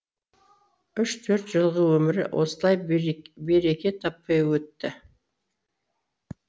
үш төрт жылғы өмірі осылай береке таппай өтті